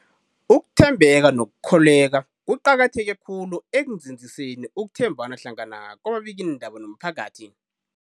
Ukuthembeka nokukholweka kuqakatheke khulu ekunzinziseni ukuthembana hlangana kwababikiindaba nomphakathi.